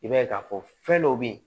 I b'a ye k'a fɔ fɛn dɔ bɛ yen